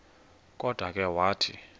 kodwa ke wathi